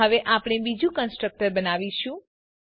હવે આપણે બીજું કન્સ્ટ્રક્ટર બનાવીશું